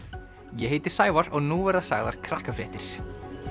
ég heiti Sævar og nú verða sagðar Krakkafréttir